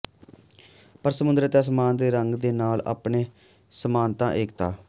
ਪਰ ਸਮੁੰਦਰ ਅਤੇ ਅਸਮਾਨ ਦੇ ਰੰਗ ਦੇ ਨਾਲ ਆਪਣੇ ਸਮਾਨਤਾ ਏਕਤਾ